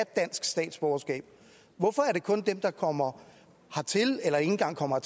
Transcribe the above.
dansk statsborgerskab hvorfor er det kun dem der kommer hertil eller ikke engang kommer